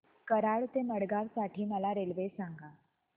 कराड ते मडगाव साठी मला रेल्वे सांगा